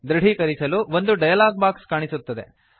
ದೃಢೀಕರಿಸಲು ಒಂದು dialog box ಕಾಣಿಸುತ್ತದೆ